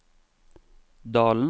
dalens